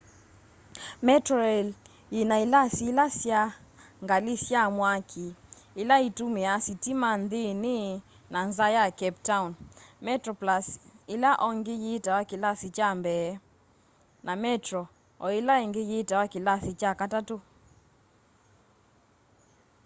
metroraĩl yĩna ĩlasĩ ĩle sya ngalĩ sya mwakĩ ĩla ĩtũmĩa sĩtĩma nthĩnĩ na nza ya cape town: metroplũs ĩla ongĩ yitawa kĩlasĩ kya mbee na metro oĩla ĩngĩ yitawa kĩlasĩ kya katatũ